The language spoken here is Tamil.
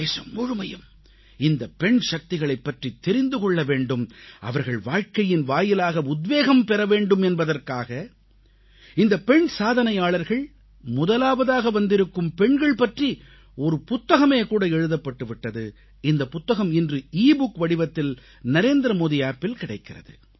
தேசம் முழுமையும் இந்தப் பெண்சக்திகளைப்பற்றித் தெரிந்து கொள்ள வேண்டும் அவர்கள் வாழ்க்கையின் வாயிலாக உத்வேகம் பெற வேண்டும் என்பதற்காக இந்தப் பெண் சாதனையாளர்கள் முதலாவதாக வந்திருக்கும் பெண்கள் பற்றி ஒரு புத்தகமே கூட எழுதப்பட்டு விட்டது இந்தப் புத்தகம் இன்று எபுக் வடிவத்தில் நரேந்திரமோடி Appஇல் கிடைக்கிறது